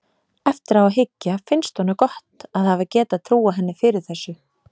Eftir á að hyggja finnst honum gott að hafa getað trúað henni fyrir þessu.